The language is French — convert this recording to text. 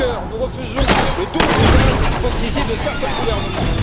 Juncker, nous refusons le double langage et l'hypocrisie de certains gouvernements.